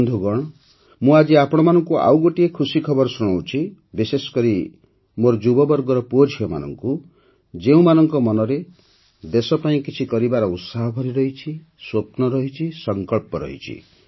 ବନ୍ଧୁଗଣ ମୁଁ ଆଜି ଆପଣମାନଙ୍କୁ ଆଉ ଗୋଟିଏ ଖୁସି ଖବର ଶୁଣାଉଛି ବିଶେଷକରି ମୋର ଯୁବବର୍ଗର ପୁଅଝିଅମାନଙ୍କୁ ଯେଉଁମାନଙ୍କ ମନରେ ଦେଶ ପାଇଁ କିଛି କରିବାର ଉତ୍ସାହ ଭରିରହିଛି ସ୍ୱପ୍ନ ରହିଛି ସଂକଳ୍ପ ରହିଛି